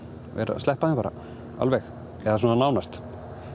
að sleppa þeim bara alveg eða svona nánast